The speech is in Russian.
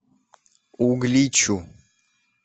угличу